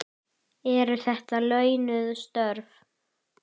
Eru þetta launuð störf?